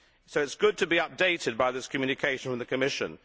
So it is good to be updated by this communication from the Commission.